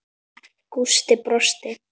Gústi brosti.